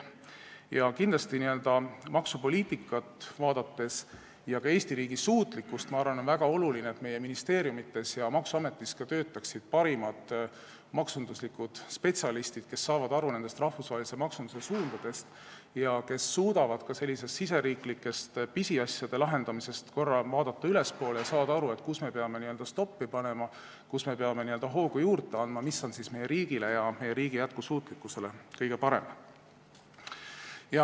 Vaadates maksupoliitikat ja ka Eesti riigi suutlikkust, ma arvan, on väga oluline, et meie ministeeriumides ja maksuametis töötaksid parimad maksuspetsialistid, kes saavad aru rahvusvahelise maksunduse suundadest ja suudavad ka selliselt riigisiseste pisiasjade lahendamiselt korra tõsta pilku ülespoole ja saada aru, kus me peame n-ö stoppi panema ja kus me peame hoogu juurde andma, mis on meie riigile ja meie riigi jätkusuutlikkusele kõige parem.